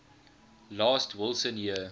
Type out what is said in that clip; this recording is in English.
last wilson year